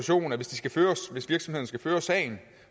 hvis virksomheden skal føre sagen